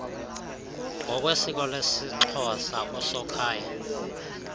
ngokwesiko lesixhosa usokhaya